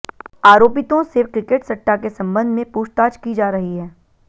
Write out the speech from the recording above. आरोपितों से क्रिकेट सट्टा के संबंध में पूछताछ की जा रही है